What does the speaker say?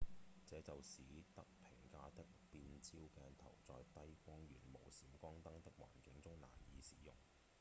這就使得平價的變焦鏡頭在低光源、無閃光燈的環境中難以使用